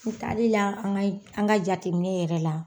N taalila an ka an ka jateminɛ yɛrɛ la.